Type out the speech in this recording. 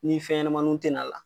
Ni fɛnɲɛnamannunw tɛ n'a la